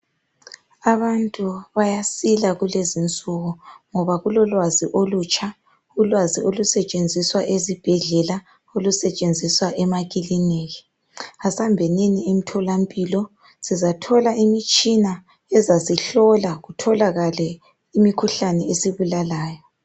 Abantu bayasila kulezinsuku ngoba kulolwazi olutsha. Ulwazi olusetshenziswa esibhedlela, olusetshenziswa emakiliniki. Asambenini emtholampilo sizathola imitshina ezasihlola kutholakale imikhuhlane esibulalayo.